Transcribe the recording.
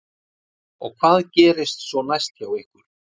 Helga: Og hvað gerist svo næst hjá ykkur?